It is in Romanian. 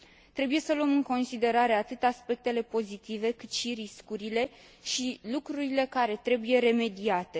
Trebuie să luăm în considerare atât aspectele pozitive, cât și riscurile și lucrurile care trebuie remediate.